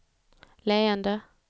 leende